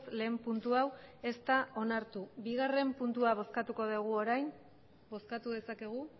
lehen puntu hau ez da onartu bigarren puntua bozkatuko dugu orain bozkatu dezakegu